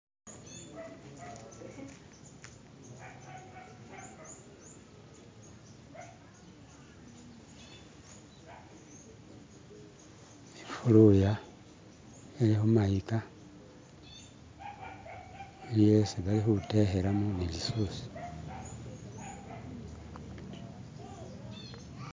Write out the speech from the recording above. Ifuluya ili khumayika iliyo isi balikhutekhelamo bilisusi.